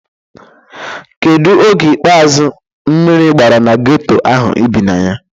Kedu oge ikpeazu mmiri gbara na geto ahụ ị bi na ya?